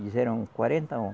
Eles eram quarenta